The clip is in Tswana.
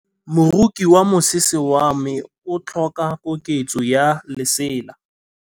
Moroki wa mosese wa me o tlhoka koketsô ya lesela.